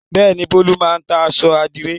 Bẹ́ẹ̀ ni, Bólú máa ń ta aṣọ àdìrẹ́.